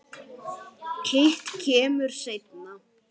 Hitt kemur seinna.